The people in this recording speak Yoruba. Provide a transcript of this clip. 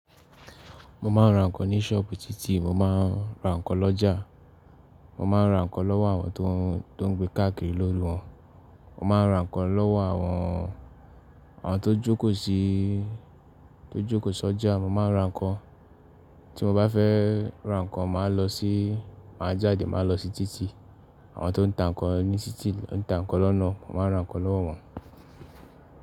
Mo máa ń ra ǹkan ní ṣọ́ọ̀bù títì, mo máa ń ra ǹkan lọ́jà. Mo máa ń ra ǹkan lọ́wọ́ àwọn tó ń gbé káàkiri lórí wọn. Mo máa ń ra ǹkan lọ́wọ́ àwọn tó jókòó sí, tó jókòó sọ́jà. Mo máa ń ra ǹkan, tí mo bá fẹ́ ra ǹkan màá lọ sí, màá jáde, màá lọ sí títì. Àwọn tó ń ta ǹkan ní títì, ń ta ǹkan lọ́nà mo máa ń ra ǹkan lọ́wọ́ wọn.